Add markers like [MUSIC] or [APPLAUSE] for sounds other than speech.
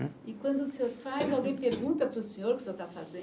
[UNINTELLIGIBLE] E quando o senhor faz, alguém pergunta para o senhor o que o senhor está fazendo?